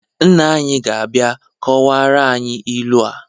Nna anyị ga-abịa kọwara anyị ilu a